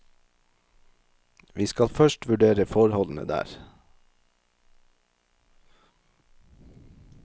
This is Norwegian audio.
Vi skal først vurdere forholdene der.